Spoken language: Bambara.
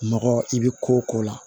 Nɔgɔ i bɛ ko o ko la